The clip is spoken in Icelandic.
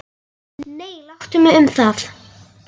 BAUJA: Nei, láttu mig um það.